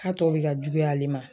Ka tɔ bi ka juguya ale ma.